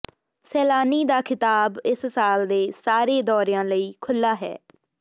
ਸੈਲਾਨੀ ਦਾ ਖਿਤਾਬ ਇਸ ਸਾਲ ਦੇ ਸਾਰੇ ਦੌਰਿਆਂ ਲਈ ਖੁੱਲ੍ਹਾ ਹੈ